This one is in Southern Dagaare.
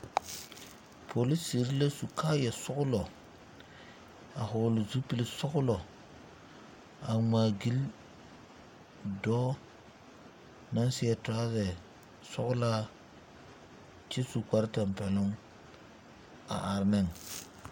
Polisire la su kaaya sɔglɔ, a vogle zupul sɔglɔ a ŋmaa gyil dɔɔ na seɛ turasɛ sɔglaa kyɛ su kpar tampɛluŋ a are neŋ.